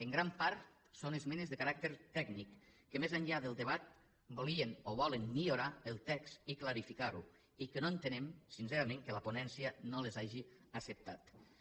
en gran part són esmenes de caràcter tècnic que més enllà del debat volien o volen millorar el text i clarificar lo i que no entenem sincerament que la ponència no les hagi acceptades